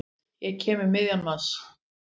Ég kem um miðjan mars.